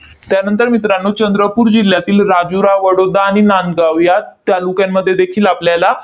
त्यानंतर मित्रांनो, चंद्रपूर जिल्ह्यातील राजुरा, वडोदा आणि नांदगाव या तालुक्यांमध्ये देखील आपल्याला